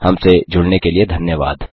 हमसे जुड़ने के लिए धन्यवाद